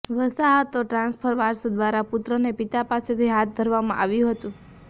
વસાહતો ટ્રાન્સફર વારસો દ્વારા પુત્રને પિતા પાસેથી હાથ ધરવામાં આવ્યું હતું